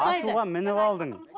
ашуға мініп алдың